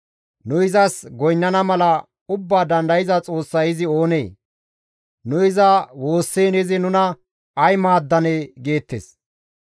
‹Nu izas goynnana mala Ubbaa Dandayza Xoossay izi oonee? Nu iza woossiin izi nuna ay maaddanee?› geettes.